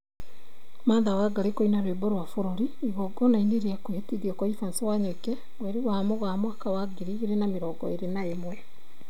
Martha Wangari kũina rwĩmbo rwa bũrũri igongona-inĩ rĩa kwĩhĩtithio gwa Evans Wanyoike, mweri wa Mũgaa mwaka wa ngiri igĩrĩ na mĩrongo ĩrĩ na ĩmwe